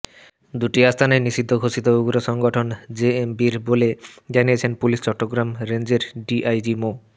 দুটি আস্তানাই নিষিদ্ধ ঘোষিত উগ্র সংগঠন জেএমবির বলে জানিয়েছেন পুলিশের চট্টগ্রাম রেঞ্জের ডিআইজি মো